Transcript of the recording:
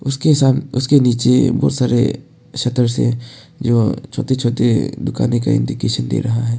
उसके साम उसके नीचे बहुत सारे शटर हैं जो छोटे छोटे दुकानें का इंडिकेशन दे रहा है।